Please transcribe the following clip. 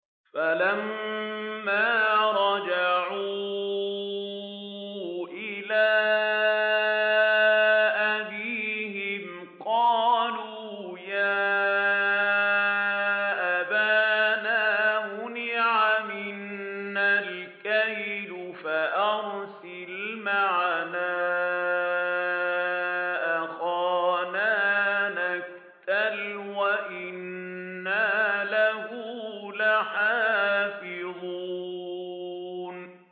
فَلَمَّا رَجَعُوا إِلَىٰ أَبِيهِمْ قَالُوا يَا أَبَانَا مُنِعَ مِنَّا الْكَيْلُ فَأَرْسِلْ مَعَنَا أَخَانَا نَكْتَلْ وَإِنَّا لَهُ لَحَافِظُونَ